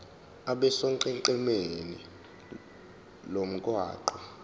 abe sonqenqemeni lomgwaqo